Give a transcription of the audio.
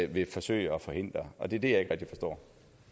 vil forsøge at forhindre og det er det rigtig forstår